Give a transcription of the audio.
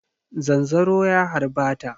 Zanzaro ya harba ta.